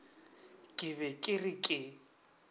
ke be ke re ke